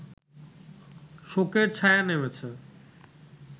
শোকের ছায়া নেমেছে